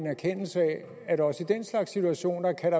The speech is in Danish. erkendelse af at der også i den slags situationer kan